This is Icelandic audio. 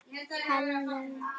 Já, hann er farinn